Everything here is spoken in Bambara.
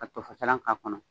Ka tofasalan k'a kɔnɔ.